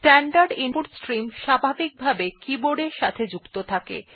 standard input stream স্বাভাবিকভাবে ই keyboard এর সাথে যুক্ত থাকে